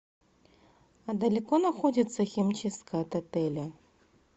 а далеко находится химчистка от отеля